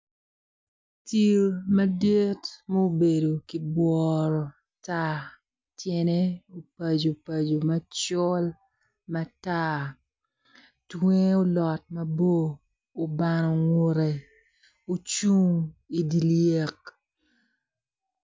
Cil madit ma obedo kiboworo tar tyene opaco paco macol matar tunge olot mabor obano ngute ocung i dye lyek.